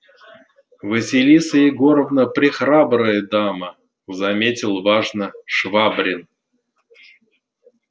василиса егоровна прехрабрая дама заметил важно швабрин